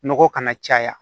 Nɔgɔ kana caya